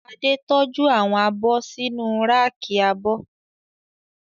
Adé tọ́jú àwọn abọ́ sínu ráàkì abọ́